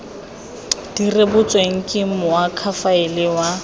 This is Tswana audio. di rebotsweng ke moakhaefe wa